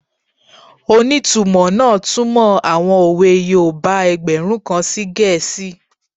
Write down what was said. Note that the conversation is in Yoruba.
Onítumọ̀ náà túnmọ̀ àwọn òwe yoòbá ẹgbẹ̀rún kan sí gẹ̀ẹ́sì